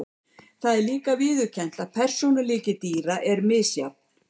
Það er líka viðurkennt að persónuleiki dýra er misjafn.